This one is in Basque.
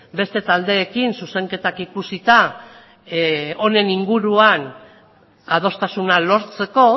beste taldeekin zuzenketak ikusita honen inguruan adostasuna lortzeko